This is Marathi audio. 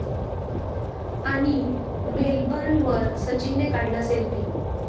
...आणि मेलबर्नवर सचिनने काढला सेल्फी